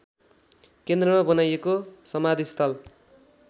केन्द्रमा बनाइएको समाधिस्थल